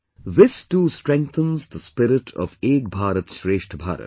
This too strengthens the spirit of 'Ek BharatShreshtha Bharat'